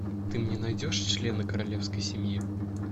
ты мне найдешь члены королевской семьи